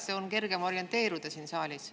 Siis on kergem orienteeruda siin saalis.